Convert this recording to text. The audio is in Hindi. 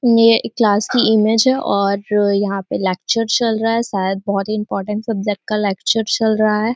ये क्लास की इमेज है और यहाँ पे लेक्चर चल रहा है शायद बोहोत ही इम्पोर्टेन्ट सब्जेक्ट का लेक्चर चल रहा है।